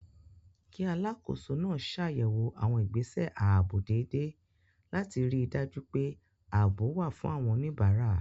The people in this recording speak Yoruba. Kí Alákòóso náà ṣàyẹ̀wò àwọn ìgbésẹ̀ ààbò dédé láti ríi dájú pé ààbò wà fún àwọn oníbàárà